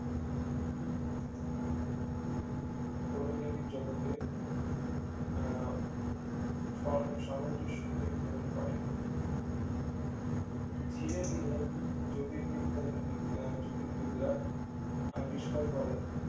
সৌর কেন্দ্রিক জগতে আহ সর সামঞ্জস্য নির্ধারণ করে ধীরে ধীরে জ্যোতিবিজ্ঞানী বিগ আহ জ্যোতির্বিদরা আবিষ্কার করেন